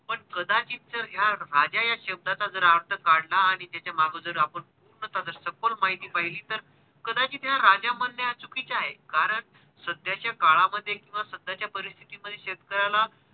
पण कदाचित जर ह्या राजा या शब्दचा जर अर्थ काढला आणि त्याचा मागोदर आपण पूर्णतः सखोल माहिती पहिली तर कदाचित ह्या राजा म्हणणे चुकीचे आहे कारण सध्याच्या काळा मध्ये किव्हा सध्याच्या परिस्तिथी मध्ये शेतकऱ्याला